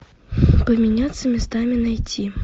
поменяться местами найти